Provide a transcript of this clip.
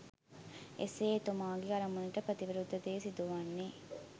එසේ එතුමාගේ අරමුණට ප්‍රතිවිරුද්ධ දේ සිදුවන්නේ